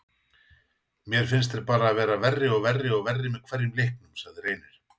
Mér finnst þeir bara vera verri og verri og verri með hverjum leiknum, sagði Reynir.